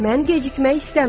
Mən gecikmək istəmirəm.